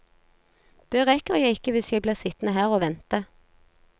Det rekker jeg ikke hvis jeg blir sittende her og vente.